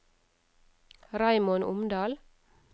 Raymond Omdal